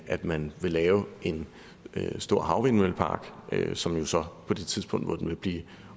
at man vil lave en stor havvindmøllepark som jo så på det tidspunkt hvor den vil blive